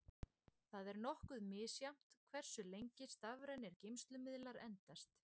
Það er nokkuð misjafnt hversu lengi stafrænir geymslumiðlar endast.